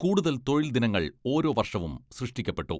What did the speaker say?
കൂടുതൽ തൊഴിൽ ദിനങ്ങൾ ഓരോ വർഷവും സൃഷ്ടിക്കപ്പെട്ടു.